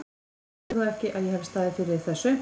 Þú heldur þó ekki, að ég hafi staðið fyrir þessu?